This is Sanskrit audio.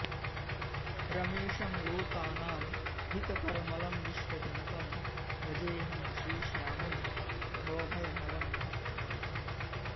रमेशं लोकानां हितकरमलं विश्वजनकं भजेऽहं श्रीश्यामं भवभयहरं भक्तवरदम्